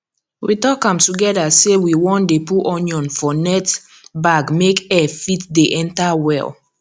we talk am together say we wan dey put onion for net bag make air fit dey enter well